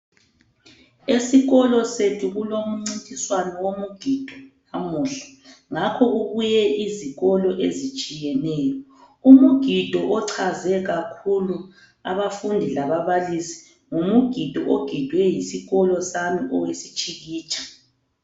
Esikolo sethu kulomncintiswano womugido lamuhla ngakho kubuye izikolo ezitshiyeneyo, umgido ochaze kakhulu abafundi lababalisi ngumugido ogidwe yisikolo sami owesitshikitsha.